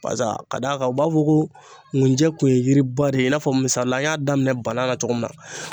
Barisa ka d'a kan u b'a fɔ ko nkunjɛ kun ye yiri ba de ye i n'a fɔ misalila an y'a daminɛ banan la cogo min na.